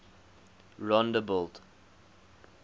rondebult